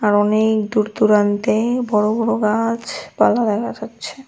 অনেক দূর দূরান্তে বড় বড় গাছ পালা দেখা যাচ্ছে।